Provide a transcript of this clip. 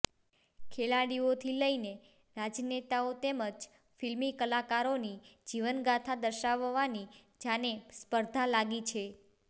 ખેલાડીઓથી લઈને રાજનેતાઓ તેમજ ફિલ્મી કલાકારોની જીવનગાથા દર્શાવવાની જાને સ્પર્ધા લાગી છે